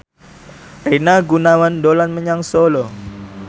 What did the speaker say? Rina Gunawan dolan menyang Solo